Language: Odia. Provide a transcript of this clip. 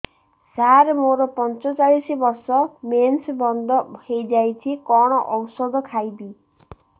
ସାର ମୋର ପଞ୍ଚଚାଳିଶି ବର୍ଷ ମେନ୍ସେସ ବନ୍ଦ ହେଇଯାଇଛି କଣ ଓଷଦ ଖାଇବି